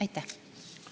Aitäh, austatud minister!